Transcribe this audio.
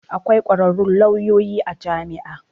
Akwai kwararrun lauyoyi a jami'a.